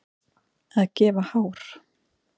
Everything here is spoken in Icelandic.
Að gefa hár